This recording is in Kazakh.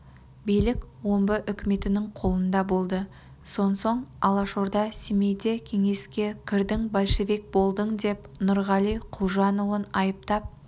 билік омбы үкіметінің қолында болды сонсоң алашорда семейде кеңеске кірдің большевик болдың деп нұрғали құлжанұлын айыптап